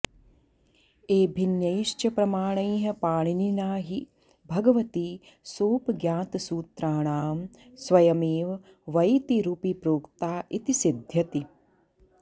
एभिन्यैश्च प्रमाणैः पाणिनिना हि भगवती स्वोपज्ञातसूत्राणां स्वयमेव वैतिरुपि प्रोक्ता इति सिध्यति